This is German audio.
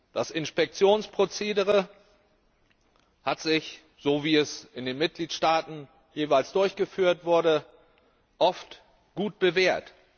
Das Inspektionsprozedere hat sich, so wie es in den Mitgliedstaaten jeweils durchgeführt wurde, oft gut bewährt.